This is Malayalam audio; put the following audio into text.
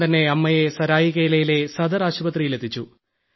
ഉടൻതന്നെ അമ്മയെ സരായികേലയിലെ സദർ ആശുപത്രിയിൽ എത്തിച്ചു